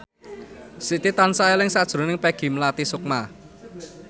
Siti tansah eling sakjroning Peggy Melati Sukma